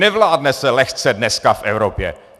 Nevládne se lehce dneska v Evropě.